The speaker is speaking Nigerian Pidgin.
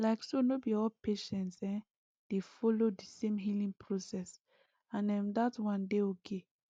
like so no be all patients[um]dey follow the same healing process and um dat one dey okay